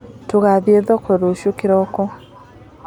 Tũgathiĩ thoko rũciũ kĩroko.